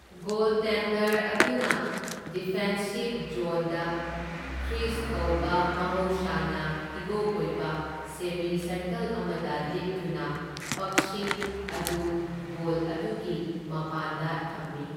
Goaltender ꯑꯗꯨꯅ ꯗꯤꯐꯦꯟꯁꯤꯕ ꯖꯣꯟꯗ ꯀ꯭ꯔꯤꯖ ꯀꯧꯕ, ꯃꯍꯧꯁꯥꯅ ꯍꯤꯒꯣꯛ ꯑꯣꯏꯕ, ꯁꯦꯃꯤ ꯁꯔꯀꯜ ꯑꯃꯗ ꯂꯦꯞꯇꯨꯅ ꯄꯛꯁꯤꯡ ꯑꯗꯨ ꯒꯣꯜ ꯑꯗꯨꯒꯤ ꯄꯃꯥꯟꯗ ꯊꯝꯃꯤ꯫